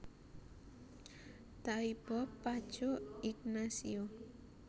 Taibo Paco Ignacio